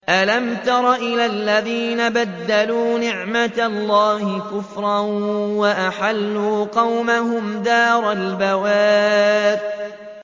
۞ أَلَمْ تَرَ إِلَى الَّذِينَ بَدَّلُوا نِعْمَتَ اللَّهِ كُفْرًا وَأَحَلُّوا قَوْمَهُمْ دَارَ الْبَوَارِ